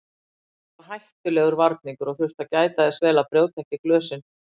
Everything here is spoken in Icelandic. Það var hættulegur varningur og þurfti að gæta þess vel að brjóta ekki glösin.